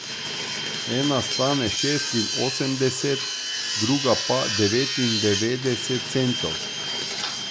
Ena stane šestinosemdeset, druga pa devetindevetdeset centov.